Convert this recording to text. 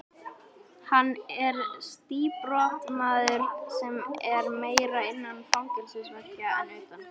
Hann er síbrotamaður sem er meira innan fangelsisveggja en utan.